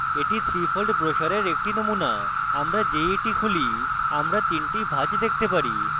এটি 3 fold ব্রোসারের একটি নমুনা আমরা যেই এটি খুলি আমরা 3 the ভাঁজ দেখতে পারি